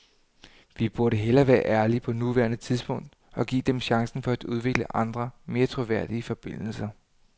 Vi burde hellere være ærlige på nuværende tidspunkt og give dem chancen for at udvikle andre, mere troværdige forbindelser.